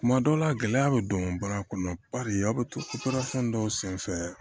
Kuma dɔw la gɛlɛya bɛ don baara kɔnɔ paseke aw bɛ torason dɔw senfɛ